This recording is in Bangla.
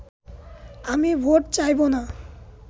আমি ভোট চাইবো না